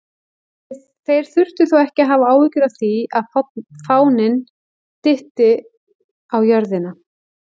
Þeir þurftu þó ekki að hafa áhyggjur af því að fáninn dytti á jörðina!